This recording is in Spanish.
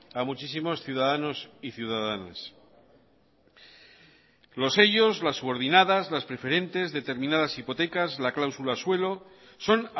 a muchísimos ciudadanos y ciudadanas los sellos las subordinadas las preferentes determinadas hipotecas la cláusula suelo son